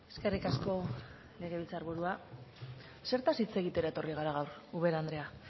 eskerrik asko legebiltzar burua zertaz hitz egitera etorri gara gaur ubera andrea